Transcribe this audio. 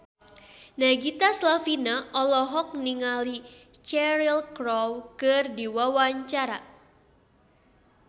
Nagita Slavina olohok ningali Cheryl Crow keur diwawancara